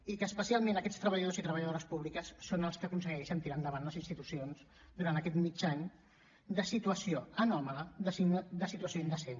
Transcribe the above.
i que especialment aquests treballadors i treballadores públiques són els que aconsegueixen tirar endavant les institucions durant aquest aquest mig any de situació anòmala de situació indecent